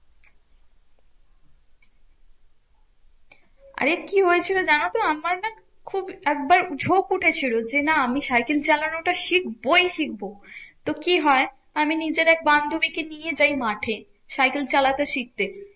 আরে কি হয়েছিল জানতো আমার না খুব একবার ঝোঁক উঠেছিল যে না আমি সাইকেল চালানো টা শিখবোই শিখবো। তো কি হয়? আমি নিজের এক বান্ধবী কে নিয়ে যাই মাঠে সাইকেল চালাতে শিখতে।